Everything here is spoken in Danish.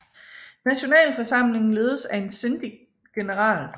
Nationalforsamlingen ledes af en síndic general